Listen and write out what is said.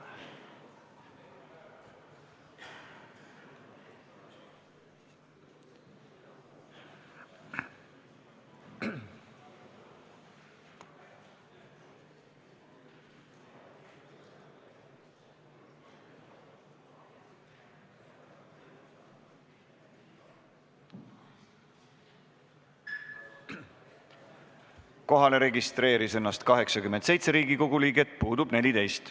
Kohaloleku kontroll Kohalolijaks registreeris ennast 87 Riigikogu liiget, puudub 14.